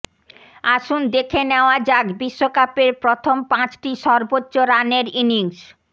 আসুন দেখে নেওয়া যাক বিশ্বকাপের প্রথম পাঁচটি সর্বোচ্চ রানের ইনিংস